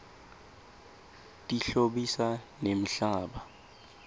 tihlobisa nemhlaba